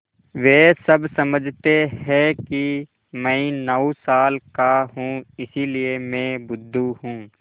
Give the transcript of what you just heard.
वे सब समझते हैं कि मैं नौ साल का हूँ इसलिए मैं बुद्धू हूँ